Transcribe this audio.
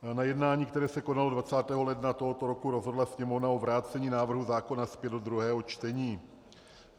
Na jednání, které se konalo 20. ledna tohoto roku, rozhodla Sněmovna o vrácení návrhu zákona zpět do druhého čtení.